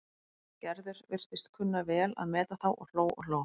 Gerður virtist kunna vel að meta þá og hló og hló.